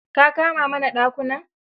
Ka kama mana dakunan?